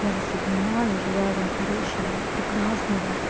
я вас обнимаю желаю вам хорошего прекрасного